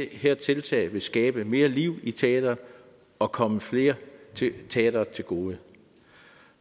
her tiltag vil skabe mere liv i teatret og komme flere teatre til gode